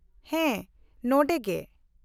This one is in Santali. -ᱦᱮᱸ, ᱱᱚᱰᱮᱜᱮ ᱾